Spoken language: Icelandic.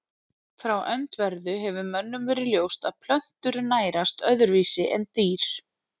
Frá öndverðu hefur mönnum verið ljóst að plöntur nærast öðruvísi en dýr.